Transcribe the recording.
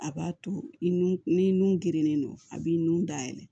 A b'a to i nun ni nun gerennen don a b'i nun da yɛlɛ